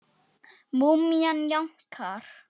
Múmían jánkar.